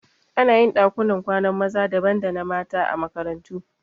Anayin ɗakunan kwanan maza daban da na mata a makarantu